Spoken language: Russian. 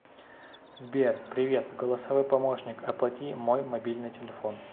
сбер привет голосовой помощник оплати мой мобильный телефон